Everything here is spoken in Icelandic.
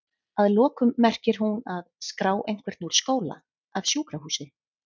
Að lokum merkir hún að?skrá einhvern úr skóla, af sjúkrahúsi?